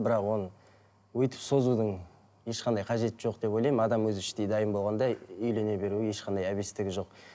бірақ оның өйтіп созудың ешқандай қажеті жоқ деп ойлаймын адам өзі іштей дайын болғанда үйлене беруге ешқандай әбестігі жоқ